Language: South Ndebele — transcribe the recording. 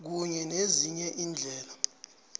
kunye nezinye iindlela